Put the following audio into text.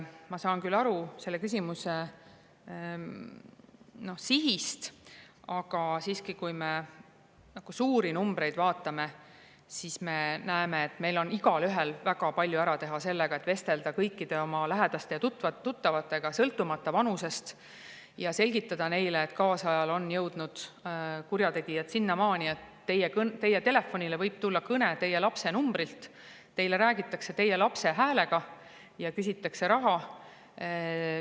Ma saan küll aru selle küsimuse sihist, aga siiski, kui me neid suuri numbreid vaatame, siis me näeme, et meil on igaühel väga palju ära teha ja vestelda kõikide oma lähedaste ja tuttavatega, sõltumata nende vanusest, et selgitada neile, et kaasajal on jõudnud kurjategijad sinnamaani, et nende telefonile võib tulla kõne nende lapse numbrilt, räägitakse nende lapse häälega ja küsitakse raha.